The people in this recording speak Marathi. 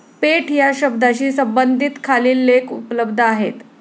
पेठ या शब्दाशी सम्बंधित खालील लेख उपलब्ध आहेतः